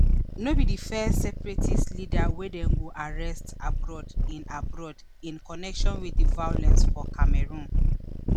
no be di first separatist leader wey dem go arrest abroad in abroad in connection wit di violence for cameroon